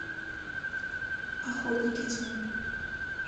охотники тьмы